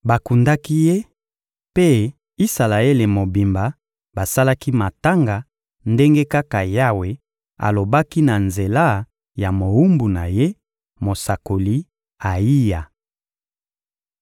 Bakundaki ye, mpe Isalaele mobimba basalaki matanga ndenge kaka Yawe alobaki na nzela ya mowumbu na Ye, mosakoli Ayiya.